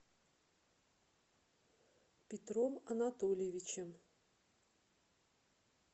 петром анатольевичем